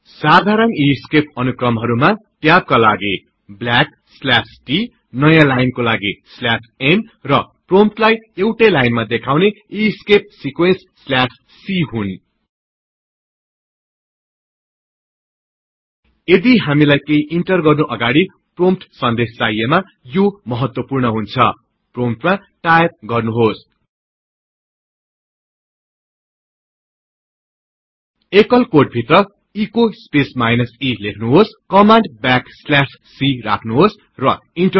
साधारण ईस्केप अनुक्रमहरुमा160 ट्याबकालागि t नयाँ लाइनकालागि n र प्रोम्पटलाई एउटै लाइनमा देखाउने ईस्केप सिक्वेन्स c हुन्